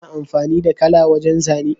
Kana amfani da kala wajan zane?